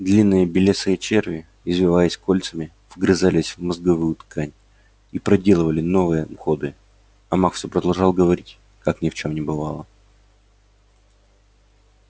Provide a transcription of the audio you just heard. длинные белесые черви извиваясь кольцами вгрызались в мозговую ткань и проделывали новые ходы а маг все продолжал говорить как ни в чем не бывало